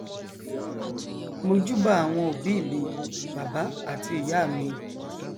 mojúbà àwọn òbí mi bàbá àti ìyá mi